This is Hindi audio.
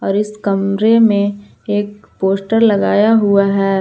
इस कमरे में एक पोस्टर लगाया हुआ है।